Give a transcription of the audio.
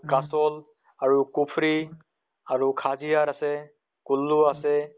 কাচল আৰু কুফ্ৰি, আৰু খাজিয়াৰ আছে, কুল্লু আছে